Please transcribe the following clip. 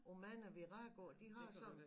Og mange Viragoer de har sådan